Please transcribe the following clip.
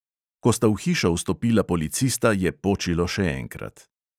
Ko sta v hišo vstopila policista, je počilo še enkrat.